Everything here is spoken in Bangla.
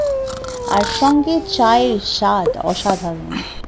আর সঙ্গে চা এর স্বাদ অসাধারণ